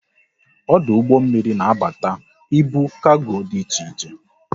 Ọdụ ụgbọ mmiri na abata ibu kargo dị iche iche